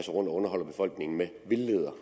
underholder befolkningen med vildleder